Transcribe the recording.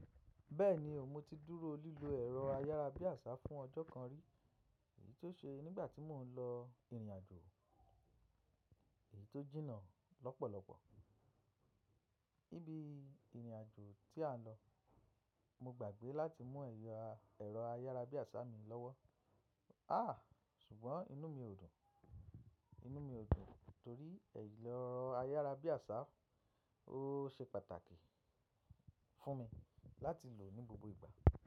Bẹ́ẹ̀ni, o mo ti dúró lílo ẹ̀rọ ayárabíàṣá fún ọjọ́ kan rí, èyí tó ṣe nígbà tí mò ń lọ ìrìnàjò èyí tó jìnnà lọ́pọ̀lọpọ̀. Níbi ìrìnàjò tí à ń lọ, mo gbàgbé láti mú ẹya ẹ̀rọ ayárabíàṣá mi lọ́wọ́. Àhà! Ṣùgbọ́n inú mi ò dùn, inú mi ò dùn torí ẹ̀rọ ayárabíàṣá o ò ṣe pàtàkì fún mi láti lò ní gbogbo ìgbà.